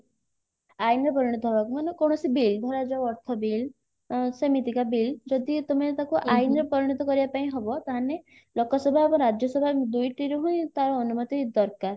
ଆଇନର ପରିଣତ ହବାକୁ ମାନେ କୌଣସି bill ଧରାଯାଉ ଅର୍ଥ bill ସେମିତିକା bill ଯଦି ତମେ ତାକୁ ଆଇନରେ ପରିଣତ କରିବା ପାଇଁ ହବ ତାହେନେ ଲୋକସଭା ଏବଂ ରାଜ୍ୟସଭା ଦୁଇଟିରୁ ହିଁ ତାର ଅନୁମତି ଦରକାର